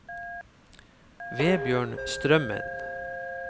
Vebjørn Strømmen